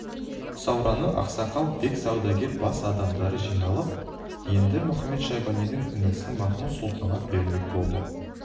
сауранның ақсақал бек саудагер бас адамдары жиналып қаланы енді мұхамед-шайбанидың інісі махмуд-сұлтанға бермек болды